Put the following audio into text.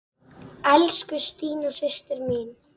Elsku Stína systir mín.